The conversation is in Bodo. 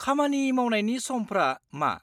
-खामानि मावनायनि समफ्रा मा?